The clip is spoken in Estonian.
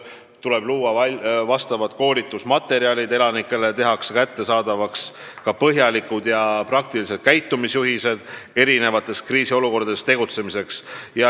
Tuleb koostada koolitusmaterjalid elanikele ning teha kättesaadavaks ka põhjalikud käitumisjuhised erinevates kriisiolukordades tegutsemiseks.